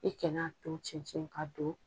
I kan'a to cɛncɛn ka don.